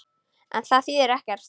En það þýðir ekkert.